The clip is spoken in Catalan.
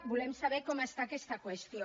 volem saber com està aquesta qüestió